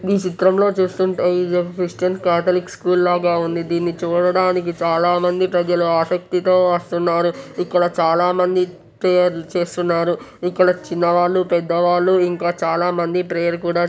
ఈ చిత్రంలో చూస్తుంటే ఇవేవో క్యాథలిక్ స్కూల్ లాగా ఉంది. దీన్ని చూడడానికి చాలామంది ప్రజలు ఆసక్తితో వస్తున్నారు.. ఇక్కడ చాలామంది ప్రేయర్ లు చేస్తున్నారు.. ఇక్కడ చిన్నవాళ్లు పెద్దవాళ్లు ఇంకా చాలామంది ప్రేయర్ కూడా --